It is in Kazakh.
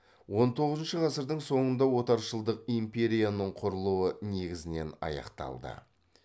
он тоғызыншы ғасырдың соңында отаршылдық империяның құрылуы негізінен аяқталды